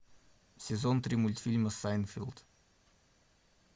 сезон три мультфильма сайнфелд